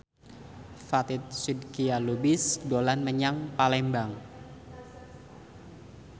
Fatin Shidqia Lubis dolan menyang Palembang